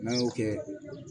N'an y'o kɛ